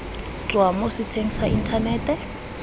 tswa mo setsheng sa inthanete